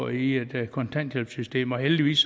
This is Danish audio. i et kontanthjælpssystem og heldigvis